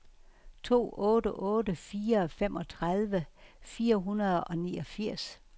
to otte otte fire femogtredive fire hundrede og niogfirs